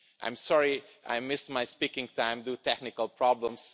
I'm sorry I missed my speaking time due to technical problems.